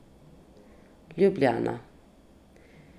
Ljubljana.